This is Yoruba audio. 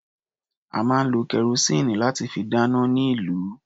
A máa lo kẹrosíìnì láti fi dáná ní ìlú.